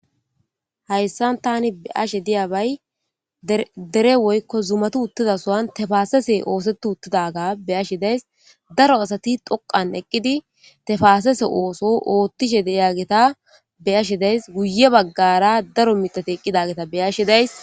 Haysan ta be'ashsha di'eyabay dere woyikko zumatu uththida sohuwan banthe tefasese osethi otidayisa be'ashshe de'ayis daro asati doqan eqqidi tefasese ooso oththishe de'iyagetta be'shshen de'as guye bagara daro miththathi be'ashshe de'ayis.